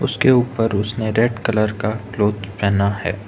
उसके ऊपर उसने रेड कलर का क्लॉथ पहना है।